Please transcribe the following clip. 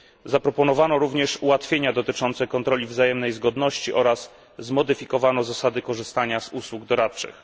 Zaproponowano również ułatwienia dotyczące kontroli wzajemnej zgodności oraz zmodyfikowano zasady korzystania z usług doradczych.